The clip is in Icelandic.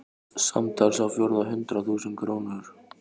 Samtals á fjórða hundrað þúsund krónur.